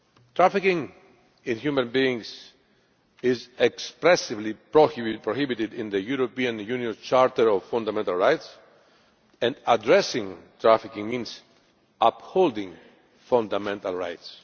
Trafficking in human beings is expressly prohibited in the European Union's Charter of Fundamental Rights and addressing trafficking means upholding fundamental rights.